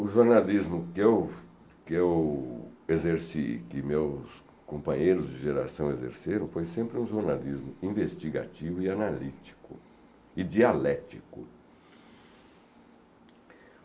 O jornalismo que eu que eu exerci e que meus companheiros de geração exerceram foi sempre um jornalismo investigativo e analítico e dialético.